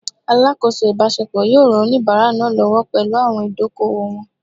Alakoso ibasepo yoo ran onibara naa lowo pelu awon idoko-owo won